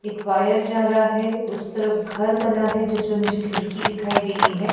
एक वायर जा रहा है उस तरफ घर बना है जिसमें मुझे खिड़की दिखाई दे रही है।